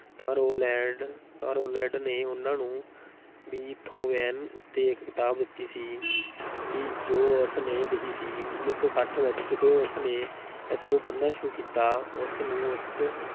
ਤਾਂ ਰੋਲਲੈਂਡ ਤਾਂ ਰੋਲਲੈਂਡ ਨੇ ਉਨ੍ਹਾਂ ਨੂੰ ਬੀਥੋਵੈਨ ਉੱਤੇ ਇੱਕ ਕਿਤਾਬ ਦਿੱਤੀ ਸੀ ਸੀ ਜੋ ਉਸ ਨੇ ਲਿਖੀ ਸੀ, ਉੱਨੀ ਸੌ ਛੱਠ ਵਿੱਚ, ਜਦੋਂ ਉਸ ਨੇ ਇਸ ਨੂੰ ਪੜ੍ਹਨਾ ਸ਼ੁਰੂ ਕੀਤਾ, ਉਸ ਨੂੰ ਉਸ